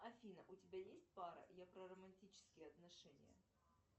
афина у тебя есть пара я про романтические отношения